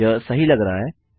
यह सही लग रहा है